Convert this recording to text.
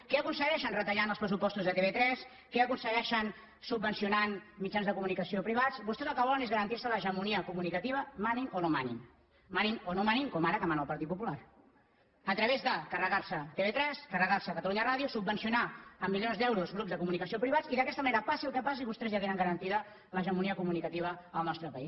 què aconsegueixen retallant els pressupostos de tv3 què aconsegueixen subvencionant mitjans de comunicació privats vostès el que volen és garantir se l’hegemonia comunicativa manin o no manin manin o no manin com ara que mana el partit popular a través de carregar se tv3 carregar se catalunya ràdio subvencionar amb milions d’euros grups de comunicació privats i d’aquesta manera passi el que passi vostès ja tenen garantida l’hegemonia comunicativa al nostre país